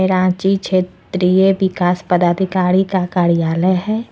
रांची क्षेत्रीय विकास पदाधिकारी का कार्यालय है।